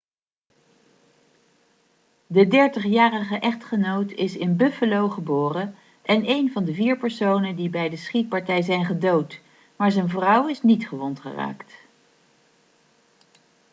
de 30-jarige echtgenoot is in buffalo geboren en een van de vier personen die bij de schietpartij zijn gedood maar zijn vrouw is niet gewond geraakt